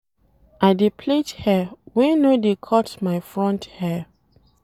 I dey plait hair wey no dey cut my front hair.